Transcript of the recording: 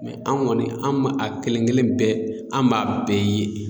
an kɔni an b'a a kelen kelen bɛɛ an b'a bɛɛ ye.